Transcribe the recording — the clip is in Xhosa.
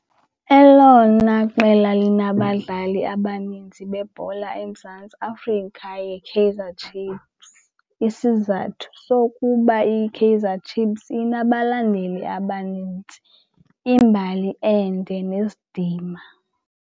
Elona qela linabadlali abaninzi bebhola eMzantsi Afrika yiKaizer Chiefs. Isizathu sokuba iyiKaizer Chiefs inabalandeli abanintsi, imbali ende nesidima.